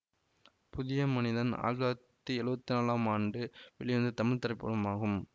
புதிய மனிதன் ஆயிரத்தி தொள்ளாயிரத்தி எழுவத்தி நாலாம் ஆண்டு வெளிவந்த தமிழ் திரைப்படமாகும்